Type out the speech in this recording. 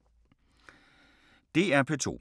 DR P2